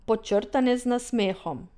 Podčrtane z nasmehom.